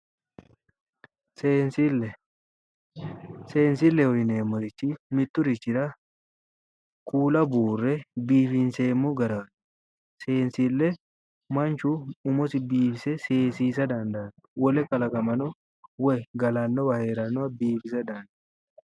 Seensille, seessileho yineemmorichi mitturichira kuula buure biifinseemmo gara seensile manchu umosi biifise seesisa dandaanno wole kalaqamano woy galannowa hee'rannowa biifiisa dandaanno.